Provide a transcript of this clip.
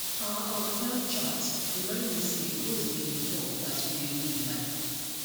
our unplanned chat remind me say goals dey evolve as we dey live life